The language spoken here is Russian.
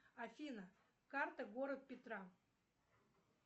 афина карта город петра